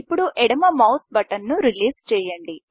ఇప్పుడు ఎడమ మౌస్ బటన్ను రిలీజ్ చేయండి